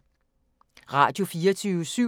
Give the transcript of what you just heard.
Radio24syv